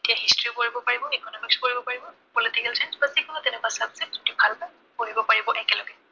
এতিয়া history ও পঢ়িব পাৰিব, Economics ও পঢ়িব পাৰিব, political science বা যি কোনো তেনেকুৱা subject যদি ভাল পায়, পঢ়িব পাৰিব একেলগে।